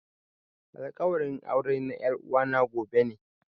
Alkawarin aure na er'uwa na gobe ne.